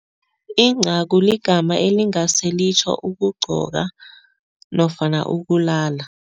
Incagu ligama elingase litjho ukugqoka nofana ukulala.